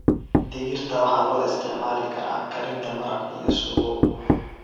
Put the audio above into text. Digirta waxay loo isticmaali karaa karinta maraq iyo suugo.